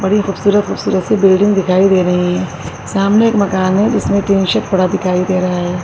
بڑی خوبصورت-خوبصورت سی بلڈنگ دکھائی دے رہی ہے۔ سامنے ایک مکان ہے، جس میں ٹن شیڈ پڑا دکھائی دے رہا ہے۔